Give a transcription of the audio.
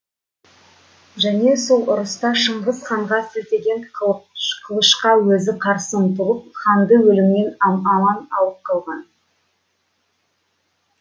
және сол ұрыста шыңғыс ханға сілтеген қылышқа өзі қарсы ұмтылып ханды өлімнен аман алып қалған